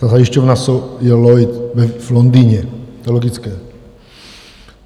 Ta zajišťovna je Lloyd v Londýně, to je logické.